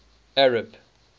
arab